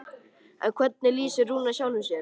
En hvernig lýsir Rúnar sjálfum sér?